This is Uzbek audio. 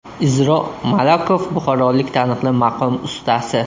Izro Malakov buxorolik taniqli maqom ustasi.